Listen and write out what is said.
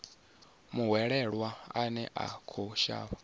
muhwelelwa ane a khou shavha